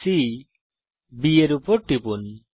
C B তে টিপুন